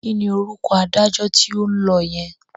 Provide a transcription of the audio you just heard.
Kí ni orúkọ adájọ́ tí ó ń lọ yẹn?